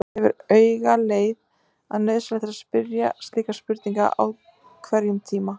Jafnframt gefur auga leið að nauðsynlegt er að spyrja slíkra spurninga á hverjum tíma.